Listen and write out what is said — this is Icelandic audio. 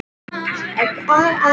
Hvernig ég fann fyrir þeim?